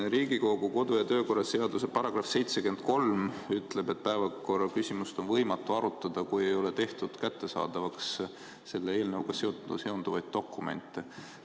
Riigikogu kodu- ja töökorra seaduse § 73 ütleb, et päevakorraküsimust on võimatu arutada, kui ei ole tehtud kättesaadavaks selle eelnõuga seotud dokumente.